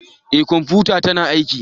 Eh kwamfutata tana aiki